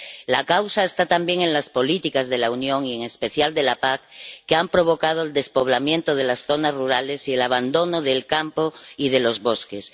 La causa está también en las políticas de la Unión y en especial en la PAC, que han provocado el despoblamiento de las zonas rurales y el abandono del campo y de los bosques.